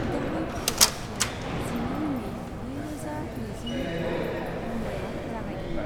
गाहाय फट'ग्राफिआ जिनै मे नैरोजा नैजिनैखालि मुम्बाईआव जागायदोंमोन।